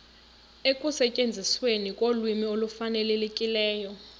ekusetyenzisweni kolwimi olufanelekileyo